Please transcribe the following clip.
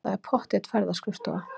Það er pottþétt ferðaskrifstofa.